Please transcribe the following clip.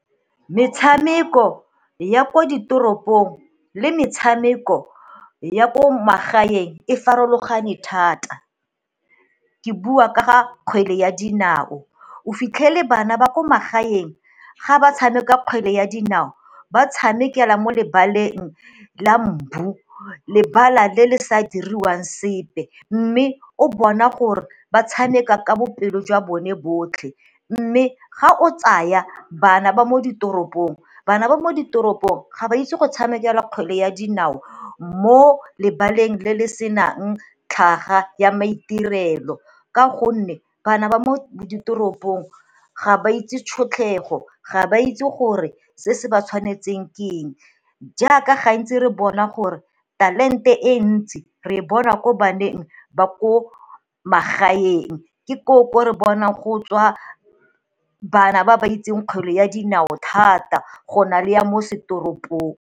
Metshameko ya ko ditoropong le metshameko ya ko magaeng e farologane thata. Ke bua ka ga kgwele ya dinao, o fitlhele bana ba ko magaeng ga ba tshameka kgwele ya dinao ba tshamekela mo lebaleng la mbu, lebala le le sa diriwang sepe mme o bona gore ba tshameka ka boipelo jwa bone botlhe, mme ga o tsaya bana ba mo ditoropong bana ba mo ditoropong ga ba itse go tshamekela kgwele ya dinao mo lebaleng le le senang tlhaga ya maitirelo ka gonne bana ba mo ditoropong ga ba itse tšhotlego ga ba itse gore se se ba tshwanetseng ke eng. Jaaka gantsi re bona gore talente e ntsi re e bona ko baneng ba ko magaeng ke koo ko re bona go tswa bana ba ba itseng kgwele ya dinao thata go na le ya mo setoropong.